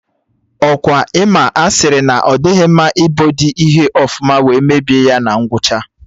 Ọkwa Ị ma a sịrị na ọ dịghị mma ibodi ihe ọfụma wee mebie ya na ngwụcha?